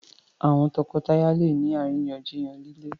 àwọn toko-taya lẹ ní àríyànjiyàn lile.